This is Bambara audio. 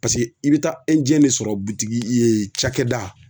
Paseke i bɛ taa de sɔrɔ butigi cakɛda